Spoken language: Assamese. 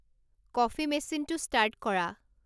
কফি মেচিনটো ষ্টাৰ্ট কৰা